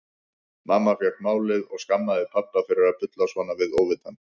Mamma fékk málið og skammaði pabba fyrir að bulla svona við óvitann.